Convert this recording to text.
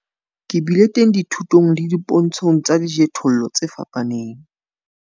Ke bile teng dithutong le dipontshong tsa dijothollo tse fapaneng.